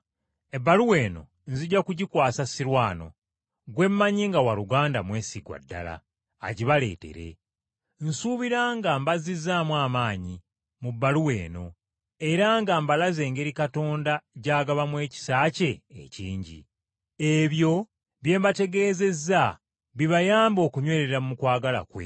Ebbaluwa eno nzija kugikwasa Sirwano , gwe mmanyi nga waaluganda mwesigwa ddala, agibaleetere. Nsuubira nga mbazizzaamu amaanyi mu bbaluwa eno, era nga mbalaze engeri Katonda gy’agabamu ekisa kye ekingi. Ebyo bye mbategeezezza bibayambe okunywerera mu kwagala kwe.